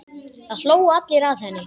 Það hlógu allir að henni.